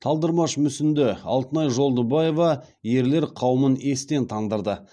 талдырмаш мүсінді алтынай жолдыбаева ерлер қауымын естен тандырды